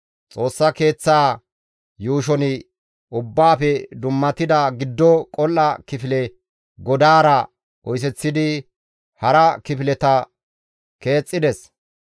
Xoossa Keeththaa yuushon ubbaafe dummatida giddo qol7a kifile godaara oyseththidi hara kifileta keexxides;